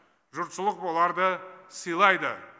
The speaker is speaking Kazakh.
жұртшылық оларды сыйлайды